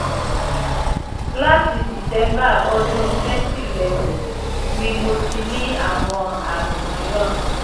láti december ọdún twenty eleven ni mo ti ní àwọn àmì mìíràn